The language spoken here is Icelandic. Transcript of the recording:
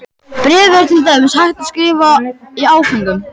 Bréfið er til dæmis hægt að skrifa í áföngum.